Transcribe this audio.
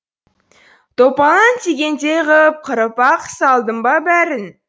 топалаң тигендей ғып қырып ақ салдым ба бәрін